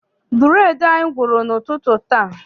Bureedi anyị gwụrụ n'ụtụtụ taa.